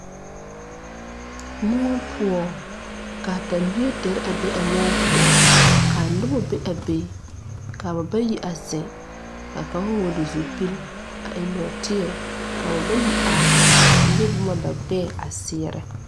Moɔ poɔ kaa tɛmbie dere a be a moɔ poɔ kaa nobɔ be a be kaa ba bayi a zeŋ kaa kaŋ vɔɔle zupil a eŋ nɔɔteɛ ka ba bayi are a le boma ba gbɛɛ a seɛrɛ.